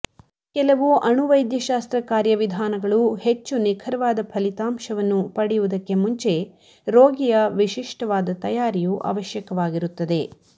ಕೆಲವು ಅಣು ವೈದ್ಯಶಾಸ್ತ್ರ ಕಾರ್ಯವಿಧಾನಗಳು ಹೆಚ್ಚು ನಿಖರವಾದ ಫಲಿತಾಂಶವನ್ನು ಪಡೆಯುವುದಕ್ಕೆ ಮುಂಚೆ ರೋಗಿಯ ವಿಶಿಷ್ಟವಾದ ತಯಾರಿಯು ಅವಶ್ಯಕವಾಗಿರುತ್ತದೆ